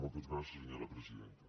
moltes gràcies senyora presidenta